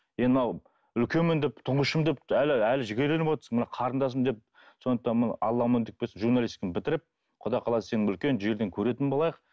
енді мынау үлкенмін деп тұңғышымын деп әлі әлі жігерленіп отырсың мына қарындасым деп сондықтан мына алла амандық берсін журналистиканы бітіріп құда қаласа сені үлкен жерден көретін болайық